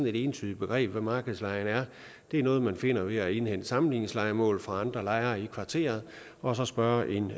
et entydigt begreb hvad markedslejen er det er noget man finder ved at indhente sammenligningslejemål fra andre lejere i kvarteret og så spørge en